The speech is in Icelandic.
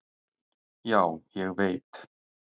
"""Já, ég veit."""